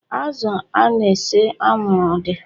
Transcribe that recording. Azụ a na-ese anwụrụ ọ dị?